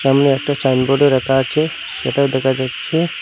সামনে একটা চাইনবোর্ডও রাখা আছে সেটাও দেখা যাচ্ছে।